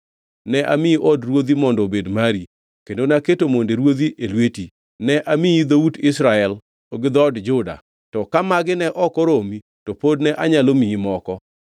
Ne amiyi od ruodhi mondo obed mari, kendo naketo monde ruodhi e lweti. Ne amiyi dhout Israel gi dhood Juda. To ka magi ne ok oromi to pod ne anyalo miyi moko.